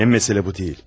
Ən məsələ bu deyil.